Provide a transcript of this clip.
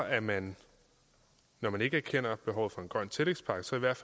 at man når man ikke erkender behovet for en grøn tillægspakke så i hvert